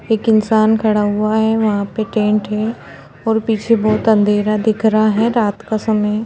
एक इंसान खड़ा हुआ है वहां पे टेंट है और पीछे बहुत अँधेरा दिख रहा है रात का समय --